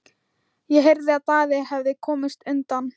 Ég heyrði að Daði hefði komist undan.